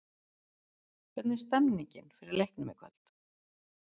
Hvernig er stemningin fyrir leiknum í kvöld?